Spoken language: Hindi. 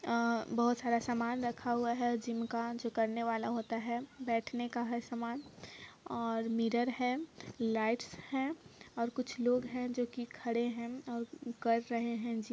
आ बहुत सारा सामान रखा हुए है जिम का बेठने का है सामान और मिरर है लाइट्स है और कुछ लोग है जो की खाद ए हे कर रहे है।